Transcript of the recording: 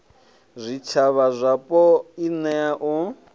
zwitshavha zwapo i nea u